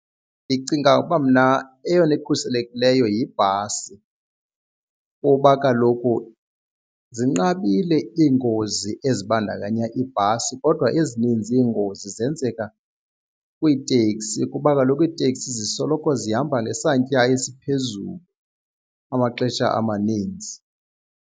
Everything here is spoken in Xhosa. Ndicinga uba mna eyona ikhuselekileyo yibhasi kuba kaloku zinqabile iingozi ezibandakanya iibhasi kodwa ezininzi iingozi zenzeka kwiitekisi kuba kaloku iiteksi zisoloko zihamba ngesantya esiphezulu amaxesha amaninzi.